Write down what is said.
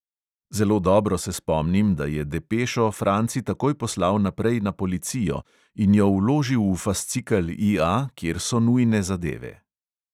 Zelo dobro se spomnim, da je depešo franci takoj poslal naprej na policijo in jo vložil v fascikel EA, kjer so nujne zadeve.